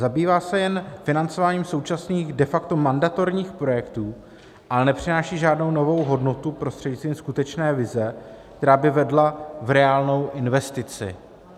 Zabývá se jen financováním současných de facto mandatorních projektů, ale nepřináší žádnou novou hodnotu prostřednictvím skutečné vize, která by vedla v reálnou investici.